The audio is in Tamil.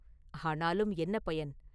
ஆனாலும் என்ன பயன்?